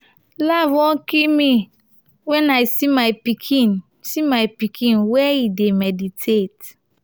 laugh wan kill me wen i see my pikin see my pikin where he dey meditate.